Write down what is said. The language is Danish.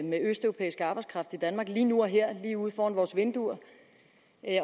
med østeuropæisk arbejdskraft i danmark lige nu og her lige uden for vores vinduer